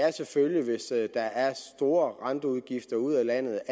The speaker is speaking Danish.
og selvfølgelig hvis der er store renteudgifter ud af landet